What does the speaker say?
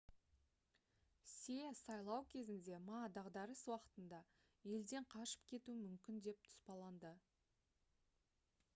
се сайлау кезінде ма дағдарыс уақытында елден қашып кетуі мүмкін деп тұспалдады